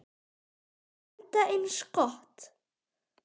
Enda eins gott.